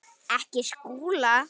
Ekki Skúla!